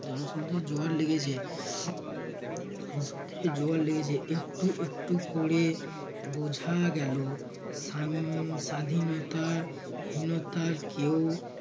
জন সমুদ্র জোগাড় লেগেছে জন সমুদ্রে জোগাড় লেগেছে। একটু একটু করে বোঝা গেলো সা~ স্বাধীনতা হীনতার কেউ